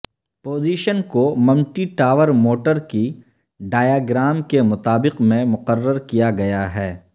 position commutator motor کی diagram کے مطابق میں مقرر کیا گیا ہے